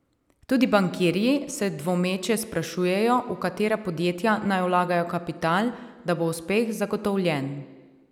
Tudi bankirji se dvomeče sprašujejo, v katera podjetja naj vlagajo kapital, da bo uspeh zagotovljen.